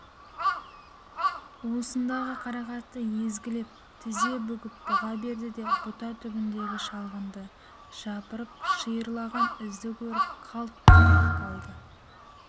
уысындағы қарақатты езгілеп тізе бүгіп бұға берді де бұта түбіндегі шалғынды жапырып шиырлаған ізді көріп қалт тұрып қалды